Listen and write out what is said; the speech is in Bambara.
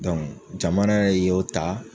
jamana yɛrɛ y'o ta